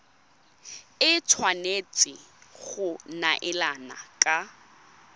e tshwanetse go neelana ka